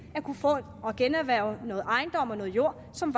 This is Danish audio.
at kunne generhverve noget ejendom og noget jord som